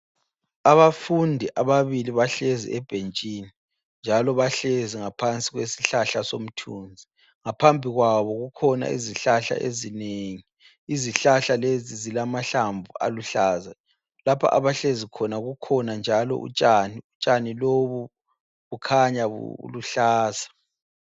Abafundi ababili bahlezi ebhentshini njalo bahlezi ngaphansi kwesihlahla somthunzi. Ngaphambi kwabo kukhona izihlahla ezinengi, izihlahla lezi zilamahlamvu aluhlaza. Lapha abahlezikhona kukhona njalo utshani, utshani lobu bukhanya buluhlaza.